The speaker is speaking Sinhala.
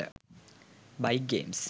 bike games